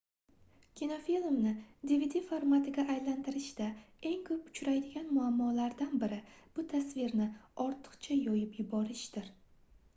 kinofilmni dvd formatiga aylantirishda eng koʻp uchraydigan muammolardan biri bu tasvirni ortiqcha yoyib yuborishdir